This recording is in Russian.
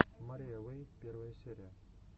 мария уэй первая серия